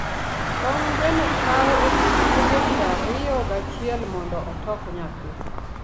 tong gweno kaw odiochienge prariyo gachiele mondo otok nyathi